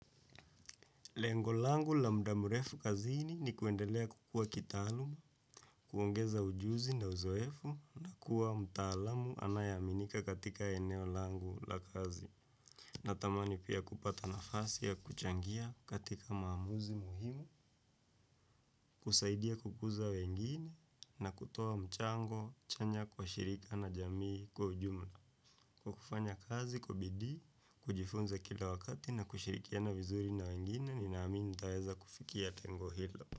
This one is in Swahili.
Lengo langu la muda mrefu kazini ni kuendelea kukua kitaaluma, kuongeza ujuzi na uzoefu na kuwa mtaalamu anayeaminika katika eneo langu la kazi. Natamani pia kupata nafasi ya kuchangia katika maamuzi muhimu, kusaidia kukuza wengine na kutoa mchango chanya kwa shirika na jamii kwa ujumla. Kwa kufanya kazi kwa bidii, kujifunza kila wakati na kushirikiana vizuri na wengine ninaamini nitaweza kufikia lengo hilo.